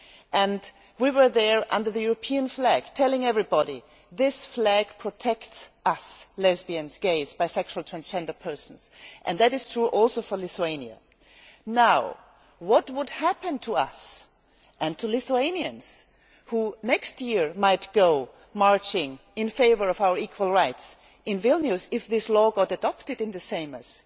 and we were there under the European flag telling everybody, this flag protects us, lesbian, gay, bisexual and transgender people, and that is true also for Lithuania'. Now, what would happen to us and to Lithuanians who next year might go marching in favour of our equal rights in Vilnius if this law is adopted in the Seimas?